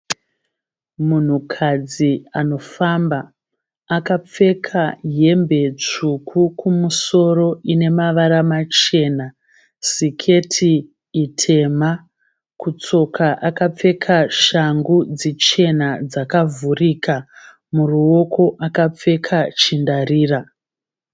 Munhukadzi anofamba akapfeka hembe tsvuku kumusoro inemavara machena siketi tema kutsoka akapfeka shangu dzichena dzakavhurika muruoko akapfeka chindarira.